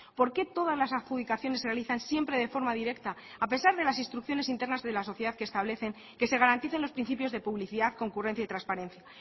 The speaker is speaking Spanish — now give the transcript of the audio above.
por qué todas las adjudicaciones se realizan siempre de forma directa a pesar de las instrucciones internas de la sociedad que establecen que se garanticen los principios de publicidad concurrencia y transparencia